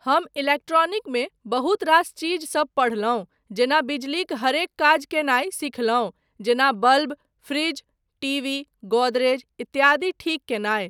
हम इलेक्ट्रॉनिकमे बहुत रास चीजसब पढ़लहुँ जेना बिजलीक हरेक काज कयनाय सिखलहुँ जेना बल्ब, फ्रिज, टीवी, गोदरेज इत्यादि ठीक कयनाय।